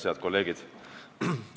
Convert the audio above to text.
Head kolleegid!